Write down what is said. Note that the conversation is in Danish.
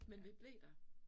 Men vi blev der